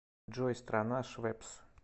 джой страна швеппс